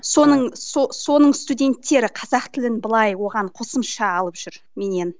соның соның студенттері қазақ тілін былай оған қосымша алып жүр меннен